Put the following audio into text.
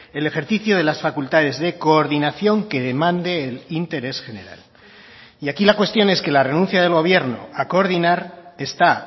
el ejercicio de las facultades de coordinación que demande el interés general y aquí la cuestión es que la renuncia del gobierno a coordinar está